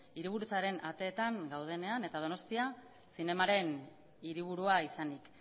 hiriburutzaren ateetan gaudenean eta donostia zinemaren hiriburua izanik